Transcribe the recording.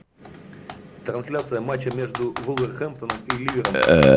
трансляция матча между вулверхэмптоном и ливером